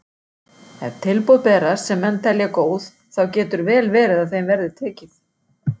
Ef tilboð berast sem menn telja góð þá getur vel verið að þeim verði tekið.